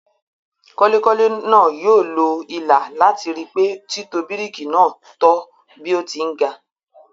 Kọ́lekọ́le náà yóò lo ilà làti ri pé títò bíríkì náà tọ́ bí ó ti ń ga.